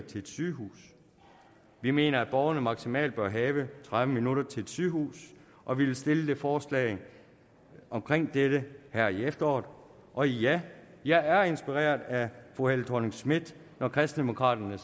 til et sygehus vi mener at borgerne maksimalt bør have tredive minutter til et sygehus og vi vil stille et forslag omkring dette her i efteråret og ja jeg er inspireret af fru helle thorning schmidt når kristendemokraterne